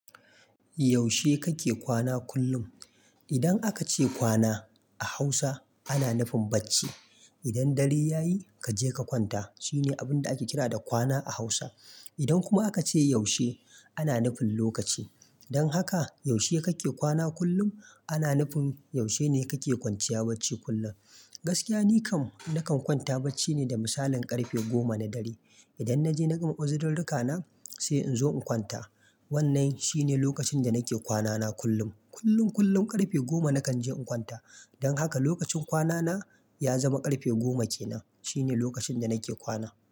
Yaushe kake kwana kullum? Idan aka ce kwana, a Hausa ana nufin bacci. Idan dare ya yi, kaje ka kwanta shine abun da ake kira da kwana a Hausa. Idan kuma aka ce yaushe, ana nufin lokaci. Don haka, yaushe kake kwana kullum? Ana nufin yaushe ne kake kwanciya bacci kullum? Gaskiya ni kam, nakan kwanta bacci ne da misalin ƙarfe goma na dare. Idan na je na gama uzururruka na, sai in zo in kwanta. Wannan shine lokacin da nake kwanana kullum. Kullum kullum ƙarfe goma nakan je in kwanta. Don haka lokacin kwanana ya zama ƙarfe goma kenan. Shine lokacin da nake kwana.